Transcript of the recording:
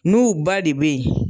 N'u ba de bɛ yen